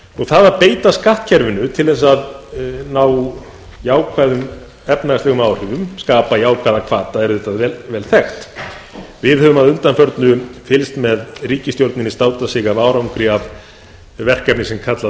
það að beita skattkerfinu til að ná jákvæðum efnahagslegum áhrifum skapa jákvæða hvata er vel þekkt við höfum að undanförnu fylgst með ríkisstjórninni státa sig af árangri af verkefni sem kallað